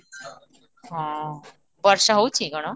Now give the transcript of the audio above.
ହଁ, ବର୍ଷା ହଉଛି କ'ଣ?